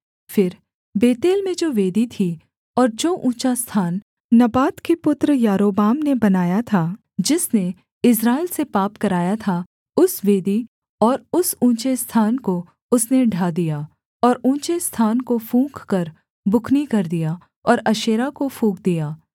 फिर बेतेल में जो वेदी थी और जो ऊँचा स्थान नबात के पुत्र यारोबाम ने बनाया था जिसने इस्राएल से पाप कराया था उस वेदी और उस ऊँचे स्थान को उसने ढा दिया और ऊँचे स्थान को फूँककर बुकनी कर दिया और अशेरा को फूँक दिया